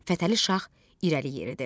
Fətəli Şah irəli yeridi.